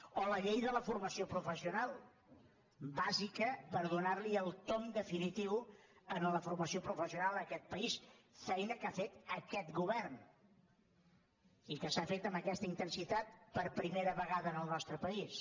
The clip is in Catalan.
o la llei de la formació professional bàsica per donar el tomb definitiu a la formació professional en aquest país feina que ha fet aquest govern i que s’ha fet amb aquesta intensitat per primera vegada en el nostre país